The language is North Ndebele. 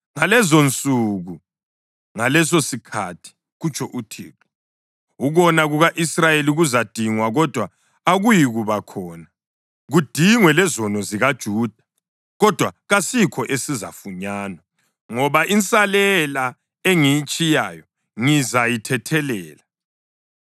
Ngalezonsuku, ngalesosikhathi,” kutsho uThixo, “ukona kuka-Israyeli kuzadingwa, kodwa akuyikuba khona; kudingwe lezono zikaJuda kodwa kasikho esizafunyanwa, ngoba insalela engiyitshiyayo ngizayithethelela.